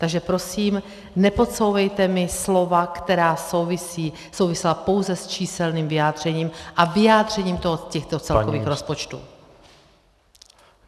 Takže prosím, nepodsouvejte mi slova, která souvisela pouze s číselným vyjádřením a vyjádřením těchto celkových rozpočtů.